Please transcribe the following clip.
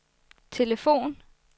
telefon